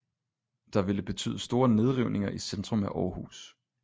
Der ville betyde store nedrivninger i centrum af aarhus